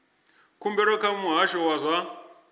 khumbelo kha muhasho wa zwa